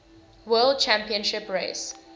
world championship race